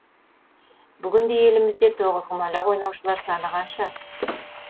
бүгінде елімізде тоғызқұмалақ ойнаушылар саны қанша